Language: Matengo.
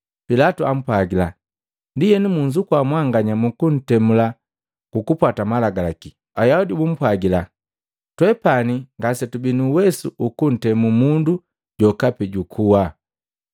Pilatu ampwagila, “Ndienu munzukua mwanganya mukuntemula kukupwata Malagalaki.” Ayaudi bapwagila, “Twepani ngasetubii nu uwesu uku kutemu mundu jokapi jukuwa.”